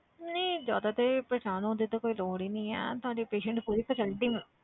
ਨਹੀਂ ਜ਼ਿਆਦਾ ਤੇ ਪਰੇਸਾਨ ਹੋਣ ਦੀ ਤਾਂ ਕੋਈ ਲੋੜ ਹੀ ਨੀ ਹੈ ਤੁਹਾਡੇ patient ਨੂੰ ਪੂਰੀ facility ਮਿਲੂ